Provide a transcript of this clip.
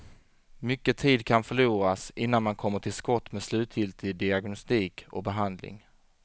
Mycket tid kan förloras, innan man kommer till skott med slutgiltig diagnostik och behandling.